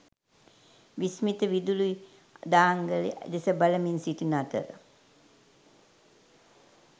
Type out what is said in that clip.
විස්මිත විදුලි දාංගලය දෙස බලමින් සිටින අතර